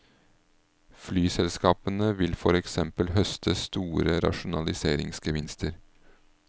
Flyselskapene vil for eksempel høste store rasjonaliseringsgevinster.